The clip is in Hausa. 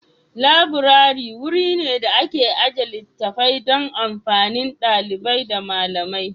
Laburare wuri ne da ake ajiye littattafai don amfanin ɗalibai da malamai.